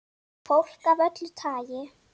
Fólk af öllu tagi.